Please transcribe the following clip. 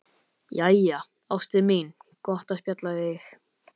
Jæja, ástin mín, gott að spjalla við þig.